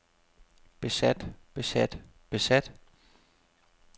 besat besat besat